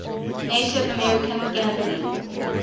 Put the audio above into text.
native american gambling